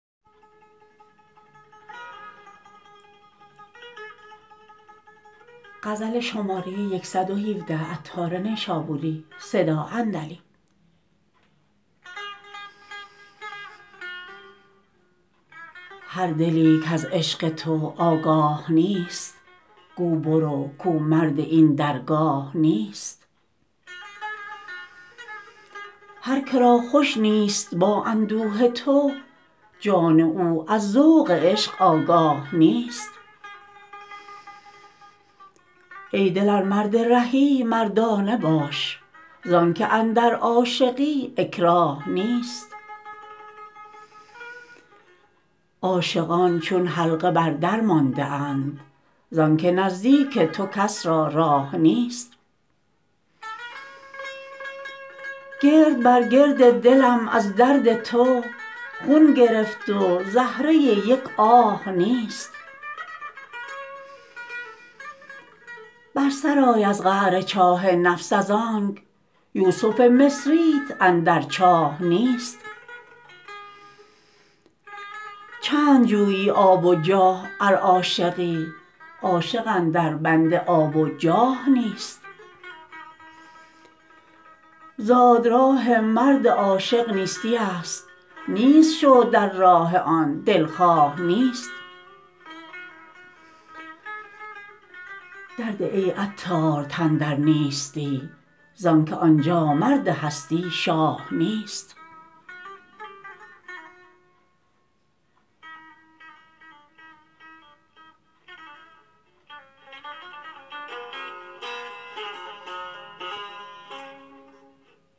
هر دلی کز عشق تو آگاه نیست گو برو کو مرد این درگاه نیست هر که را خوش نیست با اندوه تو جان او از ذوق عشق آگاه نیست ای دل ار مرد رهی مردانه باش زانکه اندر عاشقی اکراه نیست عاشقان چون حلقه بر در مانده اند زانکه نزدیک تو کس را راه نیست گرد بر گرد دلم از درد تو خون گرفت و زهره یک آه نیست بر سر آی از قعر چاه نفس از آنک یوسف مصریت اندر چاه نیست چند جویی آب و جاه ار عاشقی عاشق اندر بند آب و جاه نیست زاد راه مرد عاشق نیستی است نیست شو در راه آن دلخواه نیست در ده ای عطار تن در نیستی زانکه آنجا مرد هستی شاه نیست